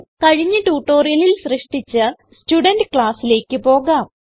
കഴിഞ്ഞ ട്യൂട്ടോറിയലിൽ സൃഷ്ടിച്ച സ്റ്റുഡെന്റ് classലേക്ക് പോകാം